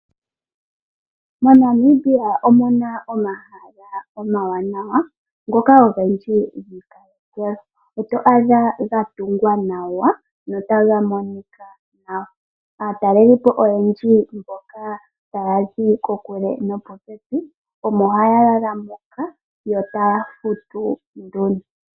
MoNamibia omuna omahala omawanawa ngoka ogendji. Oto adha gatungwa notaga monika nawa. Aatalelipo oyendji mboka ta yazi kokule nopopepi omo haya lala moka yo taya futu nduno.